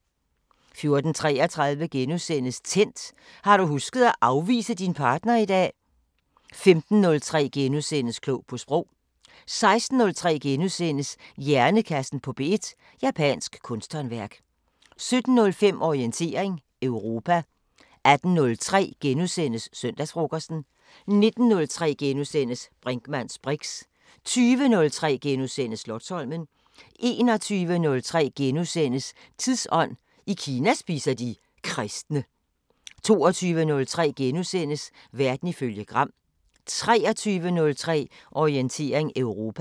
14:33: Tændt: Har du husket at afvise din partner i dag? * 15:03: Klog på Sprog * 16:03: Hjernekassen på P1: Japansk kunsthåndværk * 17:05: Orientering Europa 18:03: Søndagsfrokosten * 19:03: Brinkmanns briks * 20:03: Slotsholmen * 21:03: Tidsånd: I Kina spiser de kristne * 22:03: Verden ifølge Gram * 23:03: Orientering Europa